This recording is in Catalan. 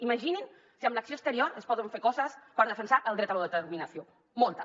imaginin se si amb l’acció exterior es poden fer coses per defensar el dret a l’autodeterminació moltes